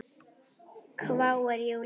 hváir Júlía hissa.